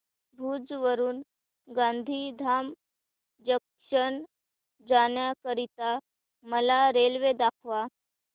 भुज वरून गांधीधाम जंक्शन जाण्या करीता मला रेल्वे दाखवा